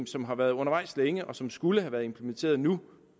som har været undervejs længe og som skulle have været implementeret nu